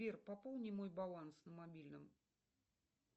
сбер пополни мой баланс на мобильном